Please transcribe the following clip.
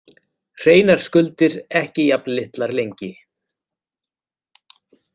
Hreinar skuldir ekki jafn litlar lengi